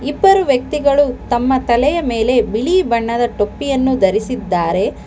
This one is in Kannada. ಇಬ್ಬರು ವ್ಯಕ್ತಿಗಳು ತಮ್ಮ ತಲೆಯ ಮೇಲೆ ಬಿಳಿ ಬಣ್ಣದ ಟೋಪ್ಪಿಯನ್ನು ಧರಿಸಿದ್ದಾರೆ.